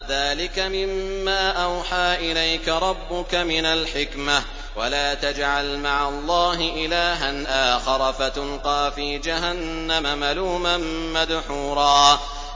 ذَٰلِكَ مِمَّا أَوْحَىٰ إِلَيْكَ رَبُّكَ مِنَ الْحِكْمَةِ ۗ وَلَا تَجْعَلْ مَعَ اللَّهِ إِلَٰهًا آخَرَ فَتُلْقَىٰ فِي جَهَنَّمَ مَلُومًا مَّدْحُورًا